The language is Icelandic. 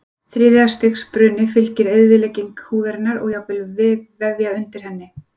Þriðja stigs bruna fylgir eyðilegging húðarinnar og jafnvel vefja undir henni.